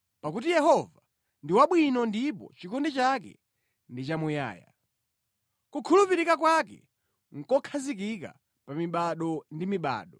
Pakuti Yehova ndi wabwino ndipo chikondi chake ndi chamuyaya; kukhulupirika kwake nʼkokhazikika pa mibado ndi mibado.